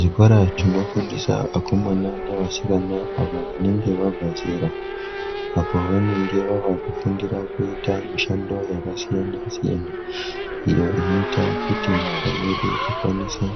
Zvikora zvinofundisa akomana neasikana ,avo vanenge vabva zera, apo vanenge vaakufundira mishando yakasiyana-siyana, iyo inoita kuti nyika yedu ikwanise